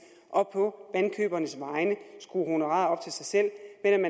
og på vandkøbernes vegne skrue honoraret op til sig selv